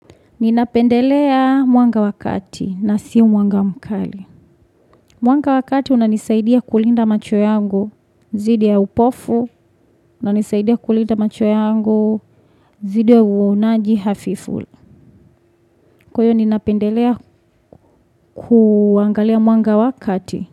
Ninapendelea mwanga wakati na sio mwanga mkali. Mwanga wakati unanisaidia kulinda macho yangu, dhidi ya upofu, unanisaidia kulinda macho yangu, dhdi ya uonaji hafifuli. Kuyo ninapendelea kuangalia mwanga wakati.